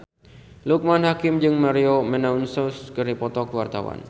Loekman Hakim jeung Maria Menounos keur dipoto ku wartawan